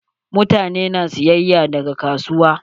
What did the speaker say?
Mutane na sayayya daga kasuwa.